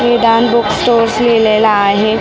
नेडान book store लिहिलेलं आहे परत --